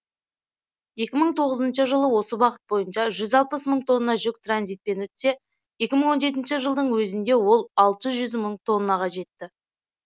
екі мың тоғызыншы жылы осы бағыт бойынша жүз алпыс мың тонна жүк транзитпен өтсе екі мың он жетінші жылдың өзінде ол алты жүз мың тоннаға жетті